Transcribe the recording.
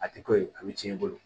A tɛ ko ye a bɛ tiɲɛ i bolo